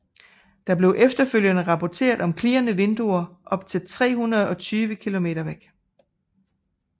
Der blev efterfølgende rapporteret om klirrende vinduer op til 320 kilometer væk